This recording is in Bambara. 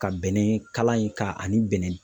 Ka bɛnɛ kala in ka ani bɛnɛ